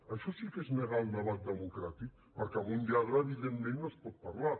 això sí que és negar el debat democràtic perquè amb un lladre evidentment no es pot parlar